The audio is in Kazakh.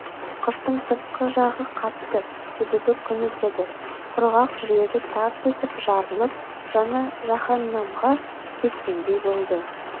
қыштың сыртқы жағы қатты себебі күн өтеді құрғақ жүрегі тарс етіп жарылып жаны жаһаннамға кеткендей болды